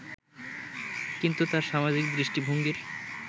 কিন্তু তাঁর সামাজিক দৃষ্টিভঙ্গির